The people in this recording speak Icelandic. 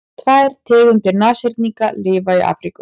tvær tegundir nashyrninga lifa í afríku